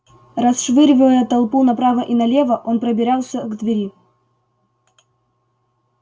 расшвыривая толпу направо и налево он пробирался к двери